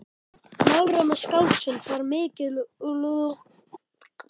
Málrómur skáldsins var mikilúðlegur eins og maðurinn sjálfur.